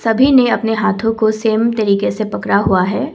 भी ने अपने हाथो को सेम तरीके से पकड़ा हुआ है।